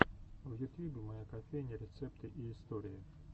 в ютьюбе моя кофейня рецепты и истории